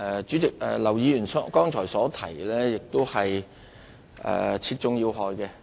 主席，劉議員剛才真是說中要害。